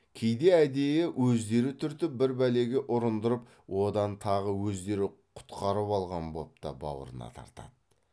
кейде әдейі өздері түртіп бір бәлеге ұрындырып одан тағы өздері құтқарып алған боп та бауырына тартады